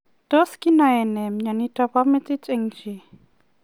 Tos kinaee nee mionitok po metit eng chii?